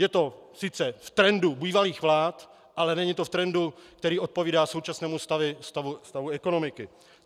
Je to sice v trendu bývalých vlád, ale není to v trendu, který odpovídá současnému stavu ekonomiky.